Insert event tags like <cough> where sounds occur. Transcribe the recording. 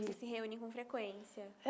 <unintelligible> se reúnem com frequência?